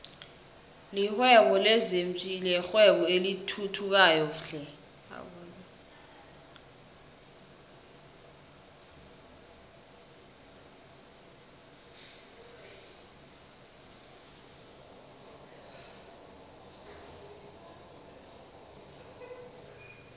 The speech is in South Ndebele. lihwebo lezinfhvthi yirwebo elithuthukayo flhe